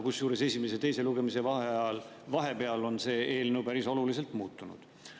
Kusjuures esimese ja teise lugemise vahepeal on see eelnõu päris oluliselt muutunud.